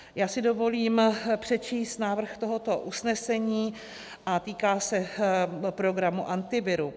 Já si dovolím přečíst návrh tohoto usnesení a týká se programu Antiviru: